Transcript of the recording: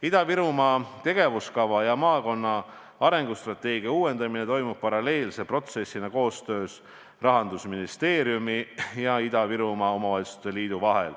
Ida-Virumaa tegevuskava ja maakonna arengustrateegia uuendamine toimub paralleelse protsessina koostöös Rahandusministeeriumi ja Ida-Virumaa Omavalitsuste Liiduga.